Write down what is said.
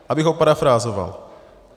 Abych ho parafrázoval.